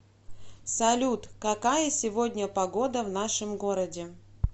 салют какая сегодня погода в нашем городе